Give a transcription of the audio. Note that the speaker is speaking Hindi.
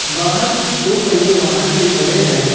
बाहर कुछ दो पहिया वाहन भी खड़े हैं।